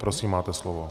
Prosím, máte slovo.